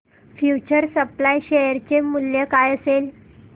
future supply share चे मूल्य काय असेल